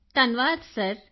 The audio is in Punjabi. ਕ੍ਰਿਤਿਕਾ ਧੰਨਵਾਦ ਸਰ